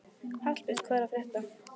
Hallbjörn, hvað er að frétta?